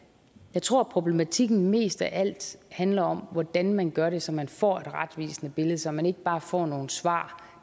jeg tror problematikken mest af alt handler om hvordan man gør det så man får et retvisende billede så man ikke bare får nogle svar